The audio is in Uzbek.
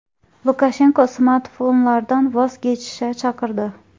Lukashenko smartfonlardan voz kechishga chaqirdi.